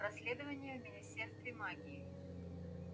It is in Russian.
расследование в министерстве магии